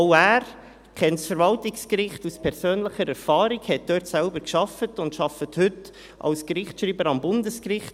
Auch er kennt das Verwaltungsgericht aus persönlicher Erfahrung, hat dort selbst gearbeitet und arbeitet heute als Gerichtsschreiber am Bundesgericht.